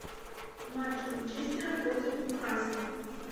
матч манчестера против ньюкасла